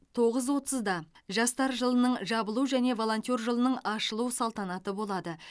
тоғыз отызда жастар жылының жабылу және волонтер жылының ашылу салтанаты болады